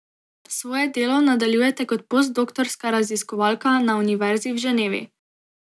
Svoje delo nadaljujete kot postdoktorska raziskovalka na Univerzi v Ženevi.